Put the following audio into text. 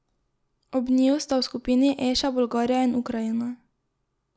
Ob njiju sta v skupini E še Bolgarija in Ukrajina.